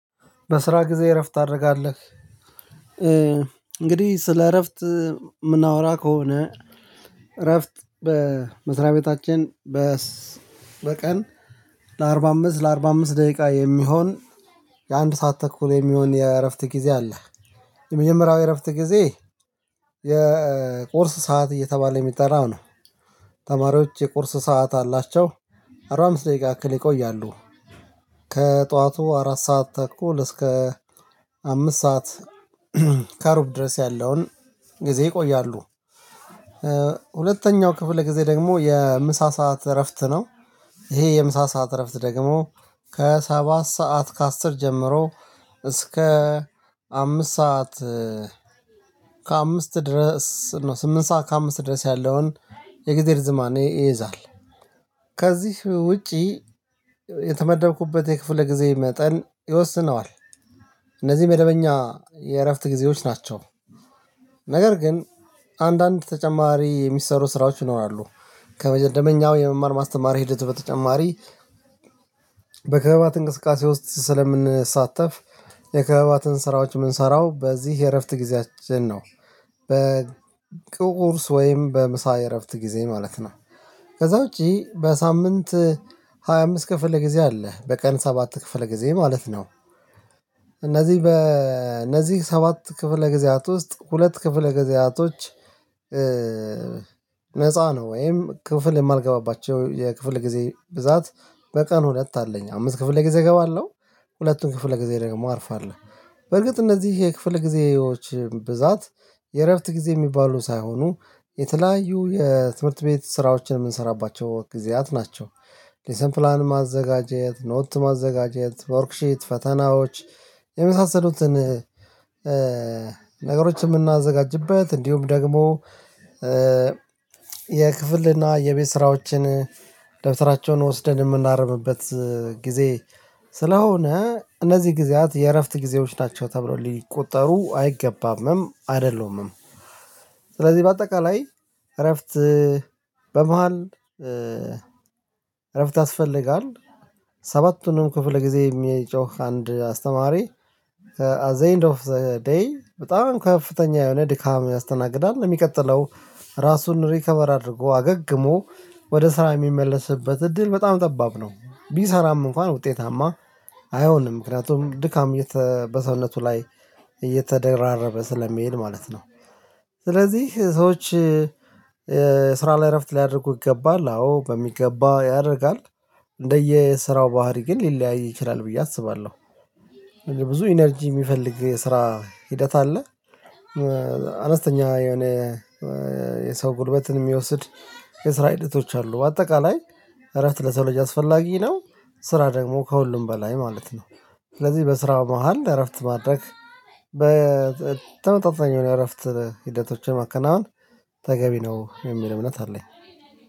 በስራ ጊዜ እረፍት ታደርጋለህ እንግዲህ ስለ እረፍት የምናወራ ከሆነ እረፍት በመስሪያ ቤታችን በቀን ለአርባ አምስት ለአርባ አምስት ደቂቃ የሚሆን የአንድ ሰዓት ተኩል የሚሆን የእረፍት ጊዜ አለ። የመጀመሪያው የእረፍት ጊዜ የቁርስ ሰዓት እየተባለ የሚጠራው ነው። ተማሪዎች የቁርስ ሰዓት አላቸው አርባ አምስት ደቂቃ አክል ይቆያሉ። ከጠዋቱ አራት ሰዓት እኮ እስከ አምስት ሰዓት ከሩብ ድረስ ያለውን ጊዜ ይቆያሉ። ሁለተኛው ክፍለ ጊዜ ደግሞ የምሳ ሰዓት እረፍት ነው። ይሄ የምሳ ሰዓት እረፍት ደግሞ ከሰባት ሰዓት ከአስር ጀምሮ እስከ አምስት ሰዓት ከአምስት ድረስ ነው። ስምንት ሰዓት ከአምስት ድረስ ያለውን የእግዚአብሔር ዝማኔ ይይዛል። ከዚህ ውጪ የተመደብኩበት የክፍለ ጊዜ መጠን ይወስነዋል። እነዚህ መደበኛ የእረፍት ጊዜዎች ናቸው። ነገር ግን አንዳንድ ተጨማሪ የሚሰሩ ስራዎች ይኖራሉ። ከመጀደመኛው የመማር ማስተማር ሂደት በተጨማሪ በከባት እንቅስቃሴ ውስጥ ስለምንሳተፍ የክህባትን ስራዎች የምንሰራው በዚህ የእረፍት ጊዜያችን ነው። በቁርስ ወይም በምሳ እረፍት ጊዜ ማለት ነው። ከዛ ውጪ በሳምንት ሃያ አምስት ክፍለ ጊዜ አለ በቀን ሰባት ክፍለ ጊዜ ማለት ነው። እነዚህ በእነዚህ ሰባት ክፍለ ጊዜያት ውስጥ ሁለት ክፍለ ጊዜያቶች ነፃ ነው ወይም ክፍል የማልገባባቸው የክፍል ጊዜ ብዛት በቀን ሁለት አለኝ አምስት ክፍል ጊዜ እገባለሁ ሁለቱን ክፍለ ጊዜ ደግሞ አርፋለሁ። በርግጥ እነዚህ ይሄ ክፍል ጊዜዎች ብዛት የእረፍት ጊዜ የሚባሉ ሳይሆኑ የተለያዩ የትምህርት ቤት ስራዎችን የምንሰራባቸው ጊዜያት ናቸው፤ ከዛ ውጪ በሳምንት ሃያ አምስት ክፍለ ጊዜ አለ በቀን ሰባት ክፍለ ጊዜ ማለት ነው። እነዚህ በእነዚህ ሰባት ክፍለ ጊዜያት ውስጥ ሁለት ክፍለ ጊዜያቶች ነፃ ነው። ወይም ክፍል የማልገባባቸው የክፍል ጊዜ ብዛት በቀን ሁለት አለኝ አምስት ክፍል ለጊዜ እገባለሁ ሁለቱን ክፍል ለጊዜ ደግሞ። አርፋለሁ በርግጥ እነዚህ ይሄ ክፍል ጊዜዎች ብዛት የእረፍት ጊዜ የሚባሉ ሳይሆኑ የተለያዩ የትምህርት ቤት ስራዎችን የምንሰራባቸው ጊዜያት ናቸው። እነዚህ ጊዜያት የእረፍት ጊዜዎች ናቸው ተብሎ ሊቆጠሩ አይገባምም አይደለምም፤ ስለዚህ በአጠቃላይ እረፍት በመሃል እረፍት ያስፈልጋል፤ ሰባቱንም ክፍል ጊዜ የሚጮህ አንድ አስተማሪ አት ዘ ኤንድ ኦፍ ዘ ዴይ በጣም ከፍተኛ የሆነ ድካም ያስተናግዳል ለሚቀጥለው ራሱን ሪከቨር አድርጎ አገግሞ ወደ ስራ የሚመለስበት እድል በጣም ጠባብ ነው። ቢሰራም እንኳን ውጤታማ አይሆንም። ምክንያቱም ድካም በሰውነቱ ላይ እየተደራረበ ስለሚሄድ ማለት ነው። ስለዚህ ሰዎች ስራ ላይ እረፍት ሊያደርጉ ይገባል አዎ በሚገባ ያደርጋል። እንደየስራው ባህሪ ግን ሊለያይ ይችላል ብዬ አስባለሁ። ብዙ ኢነርጂ የሚፈልግ የስራ ሂደት አለ። አነስተኛ የሆነ የሰው ጉልበትን የሚወስድ የስራ ሂደቶች አሉ በአጠቃላይ እረፍት ለሰው ልጅ አስፈላጊ ነው፤ ስራ ደግሞ ከሁሉም በላይ ማለት ነው። ስለዚህ በስራ መሃል እረፍት ማድረግ በተመጣጣኝ የሆነ እረፍት ሂደቶችን ማከናወን ተገቢ ነው የሚል እምነት አለኝ።